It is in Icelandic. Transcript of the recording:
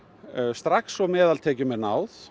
strax og meðaltekjum er náð